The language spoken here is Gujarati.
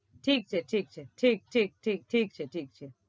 ઠીક છે ઠીક છે ઠીક ઠીક ઠીક ઠીક છે ઠીક છે.